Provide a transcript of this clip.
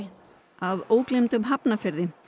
að ógleymdum Hafnarfirði